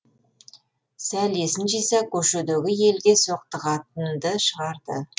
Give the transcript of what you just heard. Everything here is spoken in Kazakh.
сәл есін жиса көшедегі елге соқтығатынды шығарды